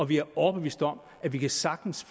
vi er overbevist om at vi sagtens